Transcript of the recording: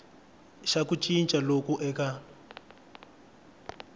xa ku cinca loku eka